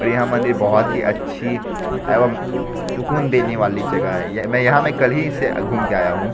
यह मंदिर बहुत ही अच्छी एवं सुकून देने वाली जगह है ये मैं यहां मैं कल ही इसे घूम के आया हूं।